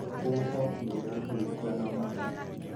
Huho nĩ irahurutana mũũno